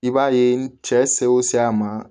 I b'a ye n cɛ se o se a ma